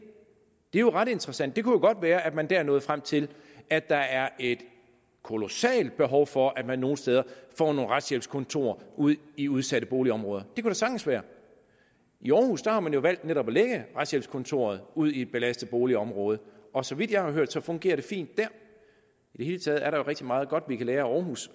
er jo ret interessant det kunne jo godt være at man der nåede frem til at der er et kolossalt behov for at man nogle steder får nogle retshjælpskontorer ude i udsatte boligområder det kunne da sagtens være i århus har man jo valgt netop at lægge retshjælpskontoret ud i et belastet boligområde og så vidt jeg har hørt fungerer det fint dèr i det hele taget er der jo rigtig meget godt vi kan lære af århus